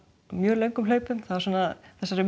mjög löngum hlaupum svona